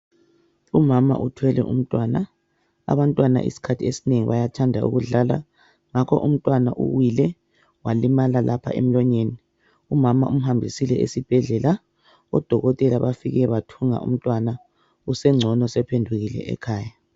Umama uthwele umntwana, abantwana isikhathi esinengi bayathanda ukudlala. Ngakho umntwana uwile walimala lapha emlonyeni, umama umhambisile esibhedlela. Odokotela bafike bathunga umntwana usengcono sephendukile ekhaya.